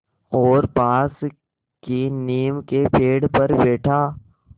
और पास की नीम के पेड़ पर बैठा